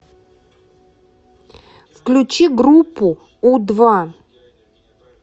включи группу у два